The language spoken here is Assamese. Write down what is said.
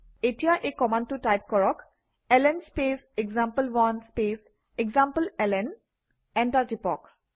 এতিয়া এই কমাণ্ডটো টাইপ কৰক - এলএন স্পেচ এক্সাম্পল1 স্পেচ এসামপ্লেলন এণ্টাৰ টিপক